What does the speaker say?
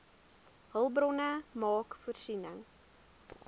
hulpbronne maak voorsiening